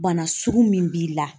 Bana sugu min b'i la